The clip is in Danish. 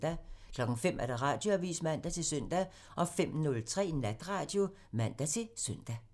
05:00: Radioavisen (man-søn) 05:03: Natradio (man-søn)